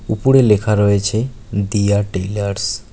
উপরে লেখা রয়েছে দিয়া টেইলার্স ।